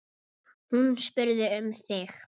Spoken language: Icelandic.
Hún spurði um þig.